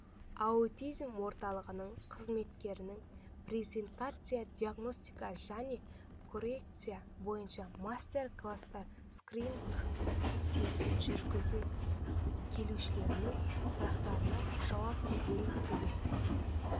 аутизм орталығының қызметінің презентациясы диагностика және коррекция бойынша мастер-класстар скрининг-тестін жүргізу келушілердің сұрақтарына жауап беру келесі